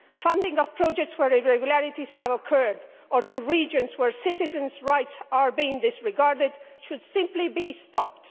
Funding of projects where irregularities have occurred or funding to regions where citizens' rights are being disregarded should simply be stopped.